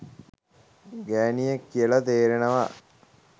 ගෑනියෙක් කියල තේරෙනවා